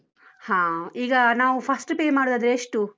ಹಾ, ಈಗ ನಾವು first pay ಮಾಡುದಾದ್ರೆ ಎಷ್ಟು?